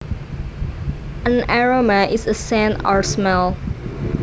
An aroma is a scent or smell